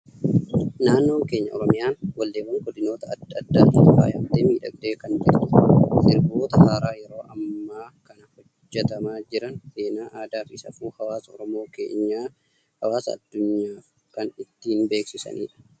Naannoon keenya Oromiyaan walleewwan godinoota addaa addaatiin faayamtee, miidhagdee kan jirtudha. Sirboota haaraa yeroo ammaa kana hojjetamaa jiran, seenaa, aadaa fi safuu hawaasa Oromoo keenyaa hawaasa addunyaaf kan ittiin beeksisanidha.